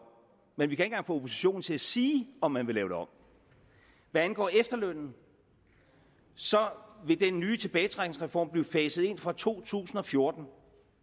men vi kan ikke oppositionen til at sige om man vil lave det om hvad angår efterlønnen så vil den nye tilbagetrækningsreform blive faset ind fra to tusind og fjorten